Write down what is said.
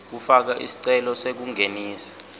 kufaka sicelo sekungenisa